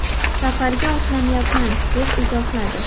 Safarga otlanyapman” deb izohladi.